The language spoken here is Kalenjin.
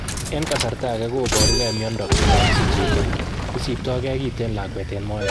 En kasarta age koporuge miondo komogisich chito, isipto ge kiten lakwet en moet.